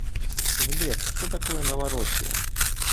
сбер что такое новороссия